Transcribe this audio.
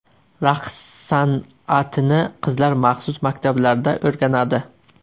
Raqs san’atini qizlar maxsus maktablarda o‘rganadi.